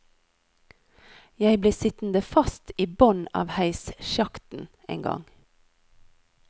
Jeg ble sittende fast i bånn av heissjakten en gang.